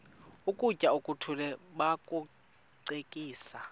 ukutya okuthile bakucekise